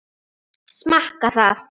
Smakka það.